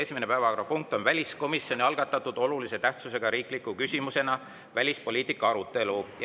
Esimene päevakorrapunkt on väliskomisjoni algatatud olulise tähtsusega riikliku küsimusena välispoliitika arutelu.